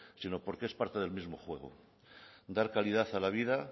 sino porque es parte del mismo juego dar calidad a la vida